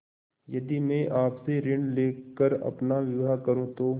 यदि मैं आपसे ऋण ले कर अपना विवाह करुँ तो